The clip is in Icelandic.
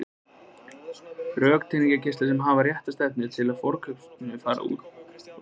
Röntgengeislar sem hafa rétta stefnu frá forskautinu fara þar út úr lampanum.